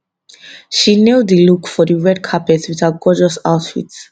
she nail di look for di red carpet wit her gorgeous outfit